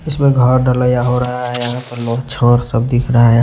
इसमें घर डलिया हो रहा है छोर सब दिख रहा है।